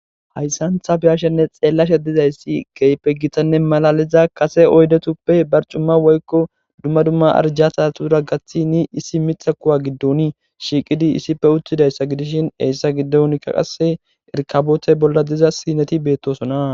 hayssan ta beyashe woykon xeellashe dizayssi keype gitanne malaliza kase oydetuppe barcumma woykko dumma dumma arjata tura gathi ni issi mixa kuwa giddon shiiqidi issife uttidayssa gidishin eyssa giddonkka qasse erkabootey bolla diza sineti beettosona